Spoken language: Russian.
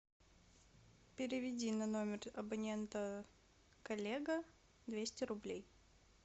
переведи на номер абонента коллега двести рублей